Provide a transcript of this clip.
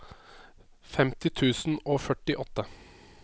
femti tusen og førtiåtte